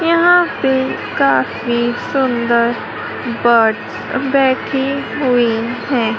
यहां पे काफी सुंदर बर्ड्स बैठी हुई है।